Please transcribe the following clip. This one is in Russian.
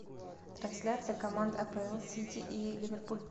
трансляция команд апл сити и ливерпуль